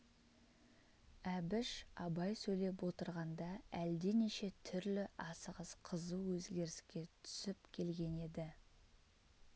әбіш абай сөйлеп отырғанда әлденеше түрлі асығыс қызу өзгеріске түсіп келген еді